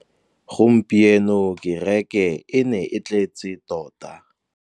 Gompieno kêrêkê e ne e tletse tota.